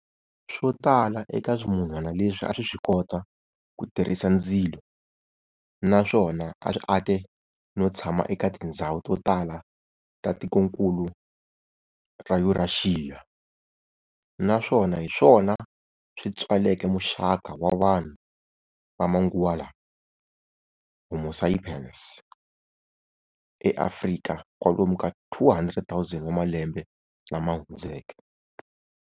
Swotala eka swimunhwana leswi aswiswikota ku tirhisa ndzilo, naswona aswi ake no tshama eka tindhzawu totala ta tikonkulu ra Yuraxiya, naswona hiswona swi tswaleke muxaka wa vanhu va manguva lawa "Homo sapiens, e" Afrika kwalomu ka 200,000 wa malembe lamahundzeke.